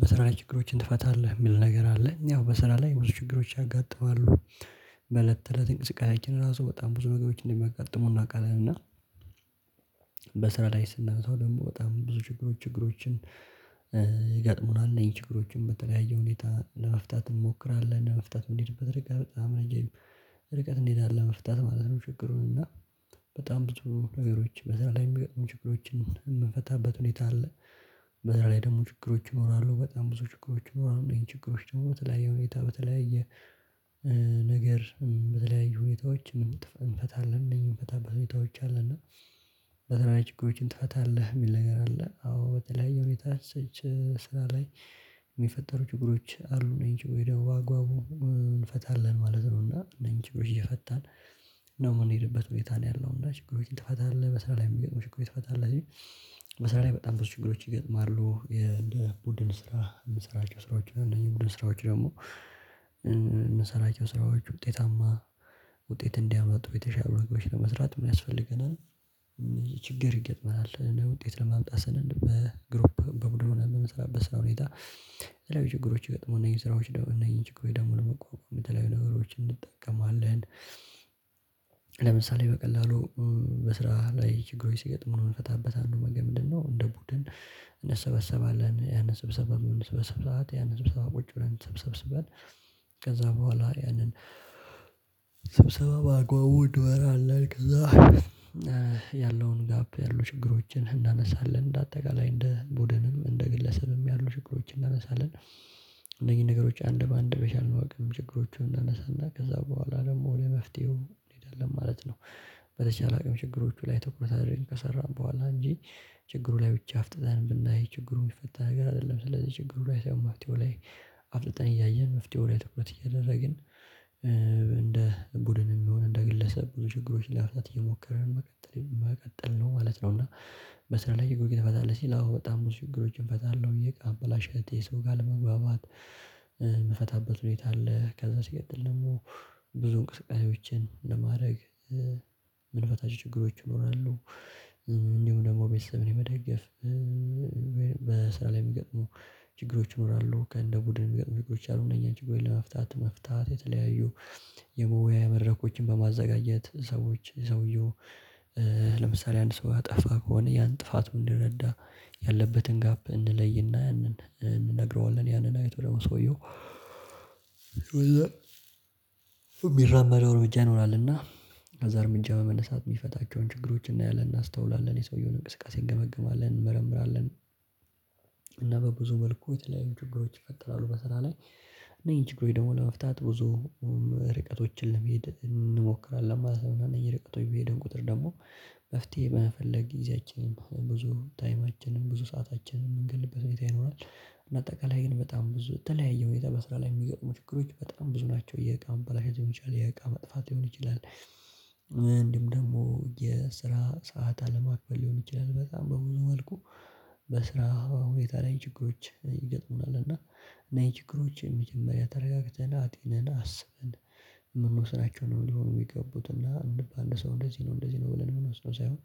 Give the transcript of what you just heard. በስራ ችግሮችን ትፈታለህ የሚል ነገር አለኝ ያው በስራ ላይ ብዙ ችግሮች ያጋጥማሉ በእለት እለት እንቅስቃሴያችን ራሱ በጣም ብዙ ነገሮችን እንደሚያጋጥሙ አውቃለን እና በስራ ላይ ስናይ ሰው ደግሞ በጣም ብዙ ችግሮች ችግሮችን ይገጥሙናል እነዚህ ችግሮችን በተለያየ ሁኔታ ለመፍታት እንሞክራለን ለመፍታት የምንሄድበት ርቀት በጣም ርቀት እንዲሄድ አለ መፍታት ማለት ነው ችግሩን እና በጣም ነገሮች በዛ ላይ የሚገጥሙኝ ችግሮችን የምንፈታበት ሁኔታ አለ በዛ ላይ ደግሞ ችግሮች እኖራለሁ በጣም ብዙ ችግሮች እኖራለሁ አሁን ይሄን ችግሮች ጥሩ በተለያዩ ሁኔታ በተለያየ ነገር በተለያዩ ሁኔታዎች እንፈታለን እንፈታበት ሁኔታዎች አለና ችግሮችን ትፈታለህ የሚል ነገር አለ አዎ በተለይ የሁኔታ ስራ ላይ የሚፈጠሩ ችግሮች አሉ እነዚህን ችግሮች ደግሞ በአግቡብ እንፈታለን ማለት ነው እና እኒህን ችግሮች እየፈታን ነው የምንሄድበት ሁኔታ ነው ያለው እንዳልኩህ ችግሮችን ትፈታለህ በስራ ላይ የምትገጥመው ችግሮችን ትፈታለህ መሰለ ላይ በጣም ብዙ ችግሮች ይገጥማሉ የእንደ ቡድን ስራ የምንሰራቸው ስራዎች እነዚህ ቡድን ስራዎች ደግሞ የምንሰራቸው ስራዎች ውጤታማ ውጤት እንዲያመጡ ቤተሻል አብረጎች ለመስራት ምን ያስፈልገናል ይሄ ችግር ይገጥመናል እና ውጤት ለማምጣት ስንል በግሩፕ በምስራቅ በስራ ሁኔታ ላይ ችግሮች ይገጥሙና የስራዎች ደግሞ እነዚህን ችግሩ ደግሞ ለመቋቋም የተለያዩ ነገሮች እንጠቀማለን ለምሳሌ በቀላሉ በስራ ላይ ችግሮች ሲገጥሙ ነው የምንፈታበት አንዱ መገን ምንድነው እንደ ቡድን እንሰበሰባለን ያንን ስብሰባ ስብሰባ ሰዓት ያንን ስብሰባ ቁጭ ብለን ተሰብስበን ከዛ በኋላ ያንን ሰብሰባውን በአግባቡ እንመራለን ከዛ ያለውን ጋፕ ያሉ ችግሮችን እናነሳለን። እንደ አጠቃላይ እንደ ቡድንም እንደ ግለሰብም ያሉ ችግሮችን እናነሳለን። እነኚህን ነገሮች አንድ በአንድ በቻልነው አቅም ችግሮቹን እንዳነሳና ከዛ በኋላ ደግሞ ለመፍትሄው እንሄዳለን ማለት ነው። በተቻለ አቅም ችግሮቹ ላይ ትኩረት አድርገን ከሰራን በኋላ እንጂ ችግሩ ላይ ብቻ አፍጥጠን ብናይ ችግሩ የሚፈታ ነገር አይደለም ስለዚህ ችግሩ ላይ ሳይሆን መፍትሄው ላይ አፍጥጠን እያየን መፍትሄው ላይ ትኩረት እያደረግን እንደ ቡድን የሚሆን እንደ ግለሰብ ብዙ ችግሮች ለመፍታት እየሞከርን ነው መቀጠል ነው ማለት ነው እና በስራ ላይ የጎይተህ ትፈታለህ ሲል አዎ በጣም ብዙ ችግሮችን እፈታለሁ ብዬ ማበላሸቴ ሰው ጋር ለመግባባት የምፈታበት ቤት አለ። ከዛ ሲቀጥል ደግሞ ብዙ እንቅስቃሴዎችን ለማድረግ ምንፈታቸው ችግሮች ይኖራሉ። እንዲሁም ደግሞ ቤተሰብን የመደገፍ ላይ የሚገጥሙ ችግሮች ይኖራሉ። ከእንደ ቡድን የሚገጥሙ ችግሮች አሉ እነኛን ችግሮችን ለመፍታት መፍታት የተለያዩ የመወያያ መድረኮችን በማዘጋጀት ሰዎች ሰውየው ለምሳሌ አንድ ሰው ያጠፋ ከሆነ ያን ጥፋቱን እንዲረዳ ያለበትን ጋፕ እንለይና ያንን እንነግረዋለን። ያንን አይቶ ደግሞ ሰውየው የሚራመደው እርምጃ ይኖራልና ከዛ እርምጃ መነሳት የሚፈታቸውን ችግሮች እናያለን፣ እናስተውላለን፣ የሰውየውን እንቅስቃሴ እንገመግማለን፣ እንመርምራለን እና በብዙ መልኩ የተለያዩ ችግሮች ይፈጥራሉ። በስራ ላይ እነዚህን ችግሮች ደግሞ ለመፍታት ብዙ ርቀቶችን ሊሄድ እንሞክራለን ማለት ነው። እና እነኚህን ርቀቶች በሄድም ቁጥር ደግሞ መፍትሄ በመፈለግ ጊዜያችንም ብዙ ታይማችንም ብዙ ሰአታችንን የምንገልበት ቤት ይኖራል። እና አጠቃላይ ግን በጣም ብዙ በተለያየ ሁኔታ በስራ ላይ የሚገጥሙ ችግሮች በጣም ብዙ ናቸው። የእቃ መበላሸት ሊሆን ይችላል፣ የእቃ መጥፋት ሊሆን ይችላል። ምንም ደግሞ የስራ ሰዓት አለማክፈል ሊሆን ይችላል። በጣም በብዙ መልኩ በስራ ሁኔታ ላይ ችግሮች ይገጥሙናል እና እና ይሄ ችግሮች መጀመሪያ ተረጋግተን አጥንተን አስብን ምንወስናቸው ነው የሚሆኑ የሚገቡትና የምባል ሰው እንደዚህ ነው እንደዚህ ነው ብለን የምንመልሰው ሳይሆን